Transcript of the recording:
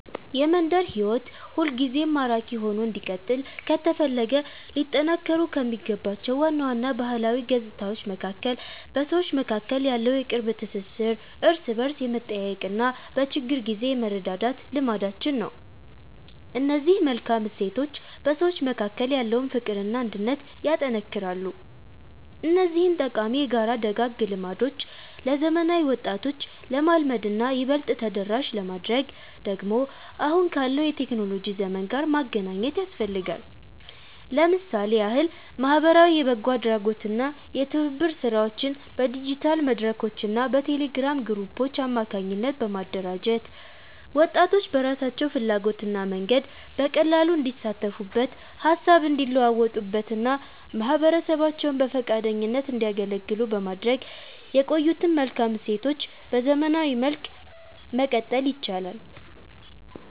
የመንደር ሕይወት ሁልጊዜም ማራኪ ሆኖ እንዲቀጥል ከተፈለገ ሊጠናከሩ ከሚገባቸው ዋና ዋና ባህላዊ ገጽታዎች መካከል በሰዎች መካከል ያለው የቅርብ ትሥሥር፣ እርስ በርስ የመጠያየቅና በችግር ጊዜ የመረዳዳት ልማዳችን ነው። እነዚህ መልካም እሴቶች በሰዎች መካከል ያለውን ፍቅርና አንድነት ያጠነክራሉ። እነዚህን ጠቃሚ የጋራ ደጋግ ልማዶች ለዘመናዊ ወጣቶች ለማልመድና ይበልጥ ተደራሽ ለማድረግ ደግሞ አሁን ካለው የቴክኖሎጂ ዘመን ጋር ማገናኘት ያስፈልጋል። ለምሳሌ ያህል ማኅበራዊ የበጎ አድራጎትና የትብብር ሥራዎችን በዲጂታል መድረኮችና በቴሌግራም ግሩፖች አማካኝነት በማደራጀት፣ ወጣቶች በራሳቸው ፍላጎትና መንገድ በቀላሉ እንዲሳተፉበት፣ ሃሳብ እንዲለዋወጡበትና ማኅበረሰባቸውን በፈቃደኝነት እንዲያገለግሉ በማድረግ የቆዩትን መልካም እሴቶች በዘመናዊ መልክ ማቀጠል ይቻላል።